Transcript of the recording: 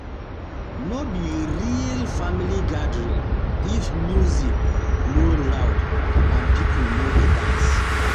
No be real family gathering if music no loud and people no dey dance.